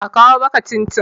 a kawo maka cin-cin!